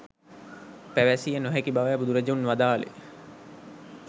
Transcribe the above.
පැවැසිය නොහැකි බවයි බුදුරජුන් වදාළේ.